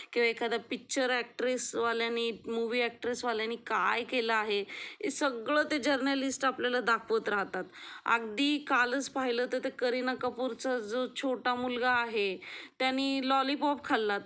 किंवा एखादा picture actress वाल्यानी मूवी अॅक्ट्रेस वाल्यानी काय केला आहे हे सगळे जर्नलिस्ट आपल्याला दाखवत राहतात अगदी कालच पाहिलं तर त्या करीना कपूर चा जो छोटा मुलगा आहे त्याने लॉलीपॉप खाल्ला